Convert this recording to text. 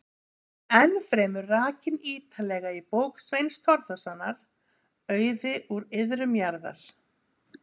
Hún er ennfremur rakin ítarlega í bók Sveins Þórðarsonar, Auði úr iðrum jarðar.